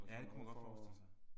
Ja det kunne man godt forestille sig